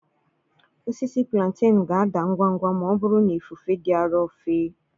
Osisi Plantenu ga-ada ngwa ngwa ma ọ bụrụ na ifufe dị arọ fe.